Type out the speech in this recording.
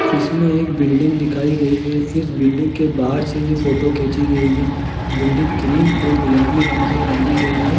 इसमें एक बिल्डिंग दिखाई गई है इस बिल्डिंग के बाहर से ये फोटो खींची गई है बिल्डिंग क्रीम और गुलाबी रंग से रंगी गई है।